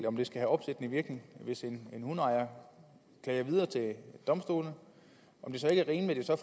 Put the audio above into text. om det skal have opsættende virkning hvis en hundeejer klager videre til domstolene om det så ikke er rimeligt at